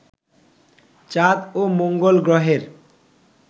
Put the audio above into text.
চাঁদ ও মঙ্গল গ্রহের